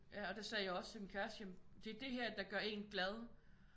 Ja og det sagde jeg også til min kæreste jamen det er det her der gør en glad